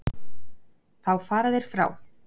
Þá fara þeir frá